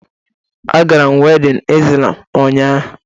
Agara m wedịn Izlam ụnyaahụ